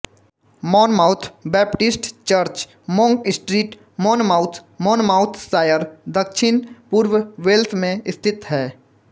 Monmouth Baptist church Monk street Monmouth Monmouthshire दक्षिण पूर्व Wales में स्थित है